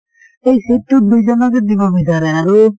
সেই seat টোত দুজনকে দিব বিচাৰে আৰু